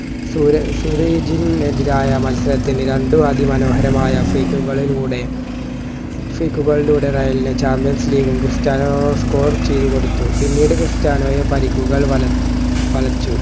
സുരേ ഫുറേജിന് എതിരായ മത്സരത്തിൽ രണ്ടു അതിമനോഹരമായ freak കളിലൂടെ freak ലൂടെ റയലിന് champions league ഉം ക്രിസ്ത്യാനോ score ചെയ്തുകൊടുത്തു പിന്നീട് ക്രിസ്റ്യാനോയെ പരുക്കുകൾ വലച്ച വലച്ചു